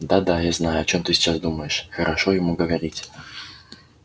да да я знаю о чем ты сейчас думаешь хорошо ему говорить